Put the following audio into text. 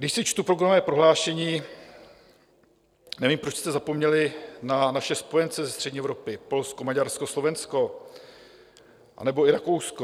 Když si čtu programové prohlášení, nevím, proč jste zapomněli na naše spojence ze střední Evropy - Polsko, Maďarsko, Slovensko anebo i Rakousko.